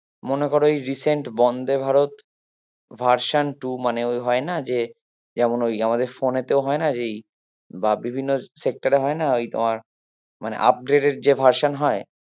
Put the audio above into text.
মনে করো এই recent Vande Bharat version two মানে ওই ওই হয়না যে যেমন ওই আমাদের phone এ তে হয়না যে বা বিভিন্ন sector এ হয়না ওই তোমার মানে upgraded যে version হয়